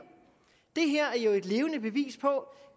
det her er jo et levende bevis på